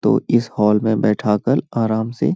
तो इस हॉल में बैठा कल आराम से --